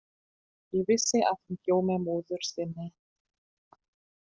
Ég vissi að hún bjó með móður sinni.